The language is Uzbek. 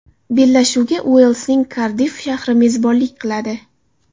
Bellashuvga Uelsning Kardiff shahri mezbonlik qiladi.